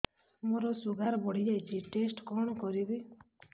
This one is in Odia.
ମୋର ଶୁଗାର ବଢିଯାଇଛି ଟେଷ୍ଟ କଣ କରିବି